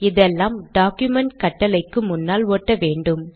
இதெல்லாம் டாக்குமென்ட் கட்டளைக்கு முன்னால் ஒட்ட வேண்டும்